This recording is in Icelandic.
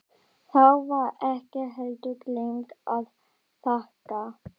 Þá var ekki heldur gleymt að þakka.